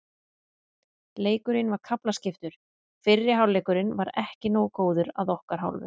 Leikurinn var kaflaskiptur, fyrri hálfleikurinn var ekki nógu góður að okkar hálfu.